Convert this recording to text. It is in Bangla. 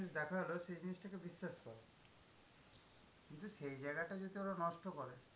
জিনিস দেখালো, সেই জিনিসটাকে বিশ্বাস করে। কিন্তু সেই জায়গাটা যদি ওরা নষ্ট করে